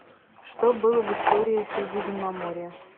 что было в история средиземноморья